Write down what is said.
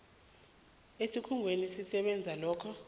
esikhungweni esisebenza lokho